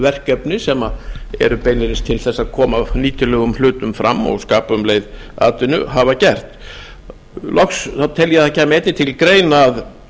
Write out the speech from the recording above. verkefni sem eru beinlínis til þess að koma nýtilegum hlutum fram og skapa um leið atvinnu hafa gert loks tel ég að það kæmi einnig til greina að